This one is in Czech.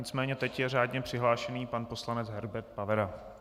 Nicméně teď je řádně přihlášený pan poslanec Herbert Pavera.